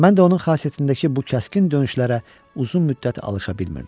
Mən də onun xasiyyətindəki bu kəskin dönüşlərə uzun müddət alışa bilmirdim.